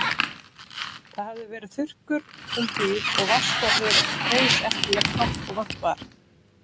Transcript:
Það hafði verið þurrkur um hríð og vatnsborðið reis ekki jafnt hátt og vant var.